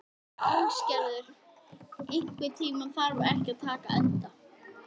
Ásgerður, einhvern tímann þarf allt að taka enda.